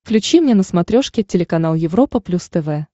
включи мне на смотрешке телеканал европа плюс тв